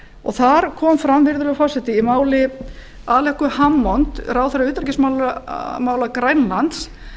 og þar kom fram virðulegur forseti í máli alequ hammond ráðherra utanríkismála grænlands